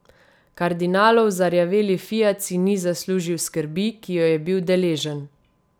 Kardinalov zarjaveli fiat si ni zaslužil skrbi, ki jo je bil deležen.